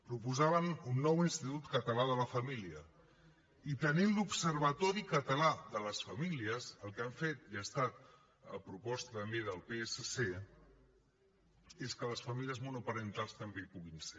proposaven un nou institut català de la família i tenint l’observatori català de les famílies el que han fet i ha estat a proposta també del psc és que les famílies monoparentals també hi puguin ser